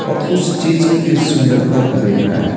और कुछ चीज की सुंदरता को देख रहा है।